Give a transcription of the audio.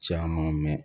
Caman mɛn